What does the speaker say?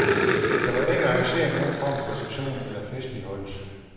Der var ikke arrangeret nogen form for reception eller festligholdelse.